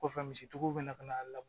Kɔfɛ misitigiw fɛnɛ ka labɛn